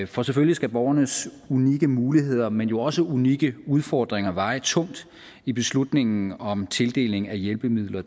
for selvfølgelig skal borgernes unikke muligheder men jo også unikke udfordringer veje tungt i beslutningen om tildeling af hjælpemidler